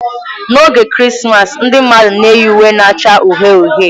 N'oge Krismas ndị mmadụ na-eyi uwe na-acha uhie uhie.